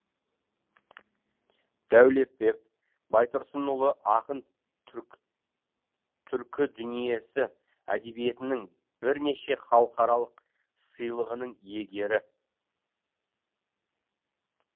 дәулетбек баи тұрсынұлы ақын түркі түркідүниесі әдебиетінің бірнеше халықаралық сыйлығының иегері